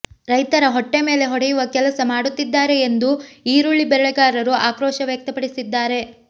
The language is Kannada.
ರೈತರ ಹೊಟ್ಟೆ ಮೇಲೆ ಹೊಡೆಯುವ ಕೆಲಸ ಮಾಡುತ್ತಿದ್ದಾರೆ ಎಂದು ಈರುಳ್ಳಿ ಬೆಳೆಗಾರರು ಆಕ್ರೋಶ ವ್ಯಕ್ತಪಡಿಸಿದ್ದಾರೆ